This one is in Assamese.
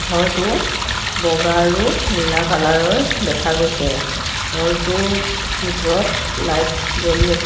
ঘৰটো বগা আৰু নীলা কালাৰ ৰ দেখা গৈছে ঘৰটোৰ ভিতৰত লাইট জ্বলি আছে।